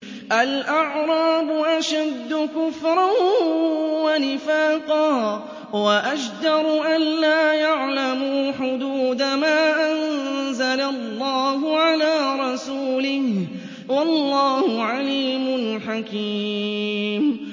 الْأَعْرَابُ أَشَدُّ كُفْرًا وَنِفَاقًا وَأَجْدَرُ أَلَّا يَعْلَمُوا حُدُودَ مَا أَنزَلَ اللَّهُ عَلَىٰ رَسُولِهِ ۗ وَاللَّهُ عَلِيمٌ حَكِيمٌ